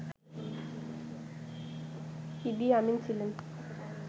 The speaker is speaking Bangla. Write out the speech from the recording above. ইদি আমিন ছিলেন